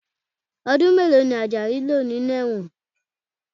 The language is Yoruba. Ọdún mélòó ni Ajayi lò ní ẹ̀wọ̀n?